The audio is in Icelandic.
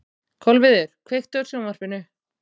Kolviður, kveiktu á sjónvarpinu.